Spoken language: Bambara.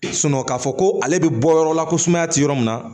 k'a fɔ ko ale bɛ bɔ yɔrɔ la ko sumaya tɛ yɔrɔ min na